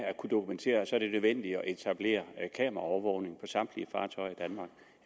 kunne dokumentere så er det nødvendigt at etablere kameraovervågning samtlige fartøjer